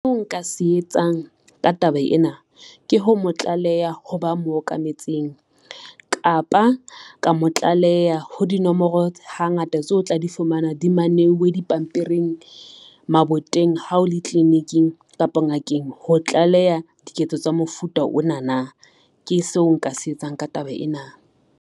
Seo nka se etsang ka taba ena ke ho mo tlaleha ho ba mo okametseng, kapa ka mo tlaleha ho dinomoro hangata tseo o tla di fumana di maneuwe dipampiring, maboteng hao le tliliniking kapa ngakeng ho tlaleha diketso tsa mofuta ona na, ke seo nka se etsang ka taba ena.